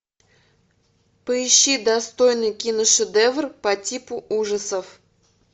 поищи достойный киношедевр по типу ужасов